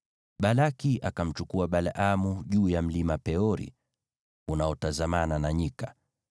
Balaki akamchukua Balaamu juu ya Mlima Peori, unaotazamana na nyika.